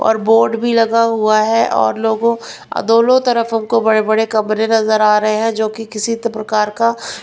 और बोर्ड भी लगा हुआ है और लोगों दोनों तरफ हमको बड़े-बड़े कमरे नजर आ रहे हैं जो कि किसी प्रकार का --